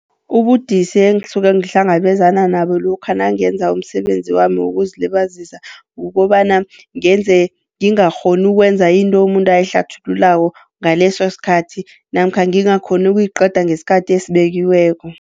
Ubudisi engisuke ngihlangabezana nabo lokha nangenza umsebenzi wami wokuzilibazisa, kukobana ngenze ngingakghoni ukwenza into umuntu ayehlathululako ngaleso sikhathi namkha ngingakghoni ukuyiqeda ngesikhathi esibekiweko.